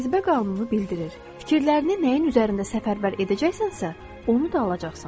Cazibə qanunu bildirir: fikirlərini nəyin üzərində səfərbər edəcəksənsə, onu da alacaqsan.